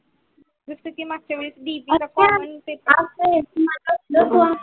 जस की मागच्या वेळेस